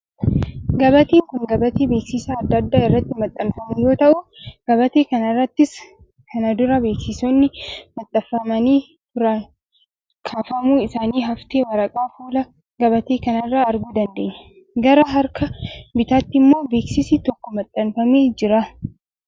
Gabateen kun gabatee beeksisi adda addaa irratti maxxanfamu yoo ta'u, gabatee kana irrattis kana dura beeksisoonni maxxanfamanii turan kaafamuu isaanii haftee waraqaa fuula gabatee kana irraa arguu dandeenya. Gara harka bitaatti immoo beeksisi tokko maxxanfamee jira.